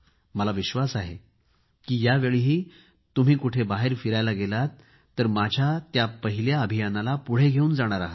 मला विश्वास आहे की यावेळीही तुम्ही कुठे बाहेर फिरायला गेलात तर माझ्या त्या पहिल्या् अभियानाला पुढे घेवून जाणार आहात